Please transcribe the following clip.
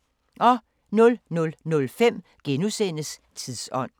00:05: Tidsånd *